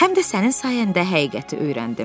Həm də sənin sayəndə həqiqəti öyrəndim.